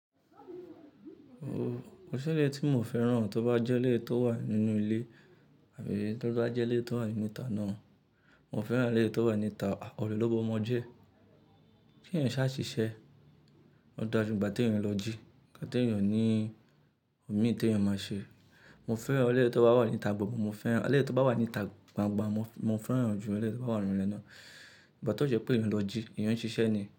O, ko ṣi eleyi tí mi o fẹ́rán tó bá jẹ́ eleyi tó wà nínú ilé àbí tó bá jẹ́ eleyi tó wà nínú ìta náà. Mo fẹ́rán eleyi tó wà níta ọ̀rọ̀ ló b'omọ́ jẹ. Kí ẹ̀yan ṣáà ṣiṣẹ́, o da ju igba tí èèyàn ń lọ jí nka t'èèyàn o ní omi tí èèyàn máa ṣe. Mo fẹ́rán eleyi tó bá wà níta gbo--, mo fẹ́rán eleyi tó bá wà níta gbangba, mo fẹ́rán ju eleyi tó bá wà nínú ilé náà. Ìgbà tí ó jẹ́ pé èèyàn ń lọ jí, èèyàn ń ṣiṣẹ́ ni.